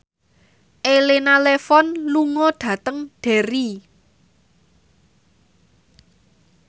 Elena Levon lunga dhateng Derry